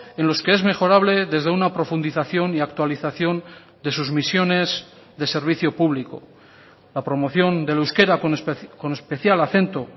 en los que es mejorable desde una profundización y actualización de sus misiones de servicio público la promoción del euskera con especial acento